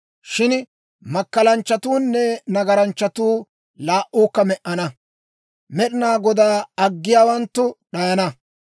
Shin makkalanchchatuunne nagaranchchatuu laa"uukka me"ana; Med'inaa Godaa aggiyaawanttu d'ayana.